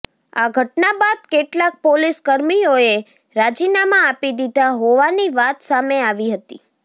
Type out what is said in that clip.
આ ઘટના બાદ કેટલાંક પોલીસ કર્મીઓએ રાજીનામા આપી દીધા હોવાની વાત સામે આવી હતી